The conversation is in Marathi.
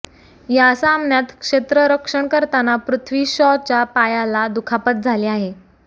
या सामन्यात क्षेत्ररक्षण करताना पृथ्वी शॉच्या पायाला दुखापत झाली आहे